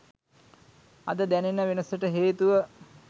අද දැනෙන වෙනසට හේතුව